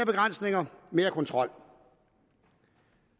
begrænsninger mere kontrol